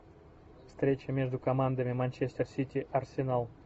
встреча между командами манчестер сити арсенал